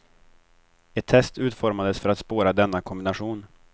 Ett test utformades för att spåra denna kombination.